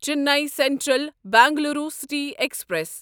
Chennai central Bengaluru city express